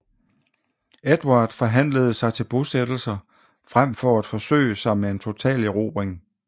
Edvard forhandlede sig til bosættelser frem for at forsøge sig med en total erobring